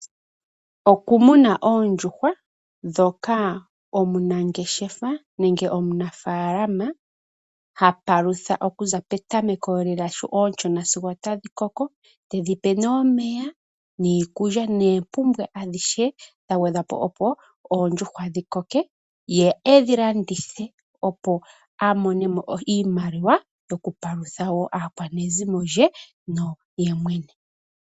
Okumuna oondjuhwa ndhoka omunangeshefa nenge omunafaalama ha palutha okuza petameko lela sho ooshona sigo otadhi koko tedhi pe nee omeya niikulya noompumbwe dha gwedhwa po, opo oondjuhwa dhi koke ye e dhi landithe, opo a mone mo iimaliwa yokupalutha wo aakwanezimo lye naye mwene.